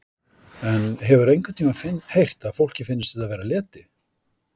En hefurðu einhvern tímann heyrt að fólki finnst þetta vera leti?